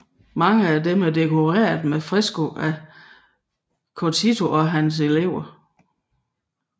Mange af dem er dekoreret med fresker af Giotto og hans elever